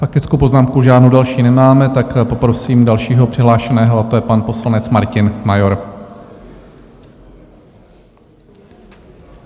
Faktickou poznámku žádnou další nemáme, tak poprosím dalšího přihlášeného, a to je pan poslanec Martin Major.